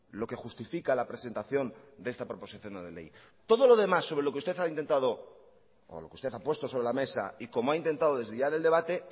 lo que justifica la presentación de esta proposición no de ley todo lo demás sobre lo que usted ha intentado o lo que usted ha puesto sobre la mesa y cómo ha intentado desviar el debate